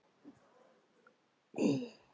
Hvaða verki varstu með?